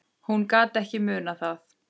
Hún gat ekki munað það.